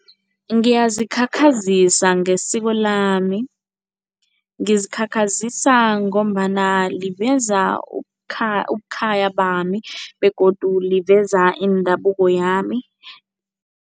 Ngiyazikhakhazisa ngesiko lami. Ngizikhakhazisa ngombana liveza ubukhaya bami begodu liveza indabuko yami.